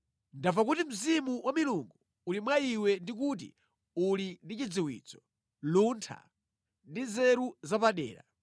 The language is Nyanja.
Ndamva kuti mzimu wa milungu uli mwa iwe ndi kuti uli ndi chidziwitso, luntha ndi nzeru zapadera.